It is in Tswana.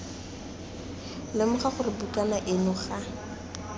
lemoga gore bukana eno ga